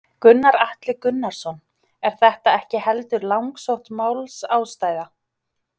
Gunnar Atli Gunnarsson: Er þetta ekki heldur langsótt málsástæða?